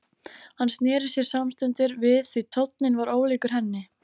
Hann sneri sér samstundis við því tónninn var ólíkur henni.